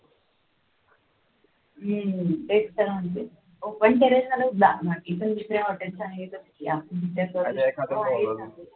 हम्म तेच तर म्हणते ओपन terrace वरच जावं लागेल नक्की पण जिथे hotel आहे त्या